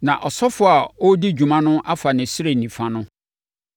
na ɔsɔfoɔ a ɔredi dwuma no afa ne srɛ nifa no.